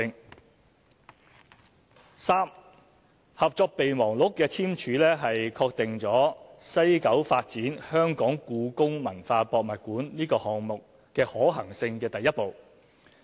第三，《合作備忘錄》的簽署是確定在西九發展故宮館項目可行性的第一步。